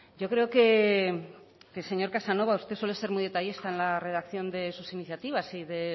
señor casanova usted suele ser muy detallista en la redacción de sus iniciativas y de